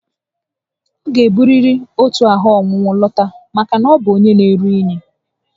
Ọ ga-eburiri otu ahụ ọnwụnwụ lọta maka na ọ bu onyé na-eru unyi